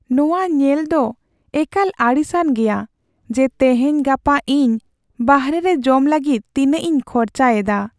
ᱱᱚᱣᱟ ᱧᱮᱞ ᱫᱚ ᱮᱠᱟᱞ ᱟᱹᱲᱤᱥᱟᱱ ᱜᱮᱭᱟ ᱡᱮ ᱛᱮᱦᱮᱧᱼᱜᱟᱯᱟ ᱤᱧ ᱵᱟᱨᱦᱮ ᱨᱮ ᱡᱚᱢ ᱞᱟᱹᱜᱤᱫ ᱛᱤᱱᱟᱹᱜ ᱤᱧ ᱠᱷᱚᱨᱪᱟᱭ ᱮᱫᱟ ᱾